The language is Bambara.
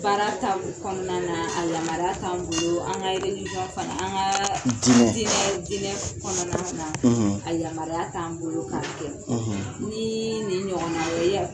Baara ta kɔnɔna na a yamaruya t'an bolo an ka relisɔn fana an kaa dinɛ dinɛ dinɛ kɔnɔna na a yamaruya t'an bolo k'a kɛ ni ni ɲɔgɔna ye